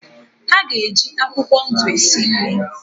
Pesi ga-eje akwụkwọ ndụ esi nri